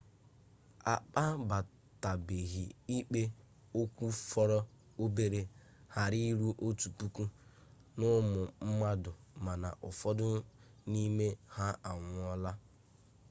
akpabatabeghị ikpe okwu fọrọ obere ghara eru otu puku n'ụmụ mmadụ mana ụfọdụ n'ime ha anwụọla